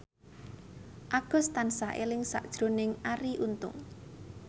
Agus tansah eling sakjroning Arie Untung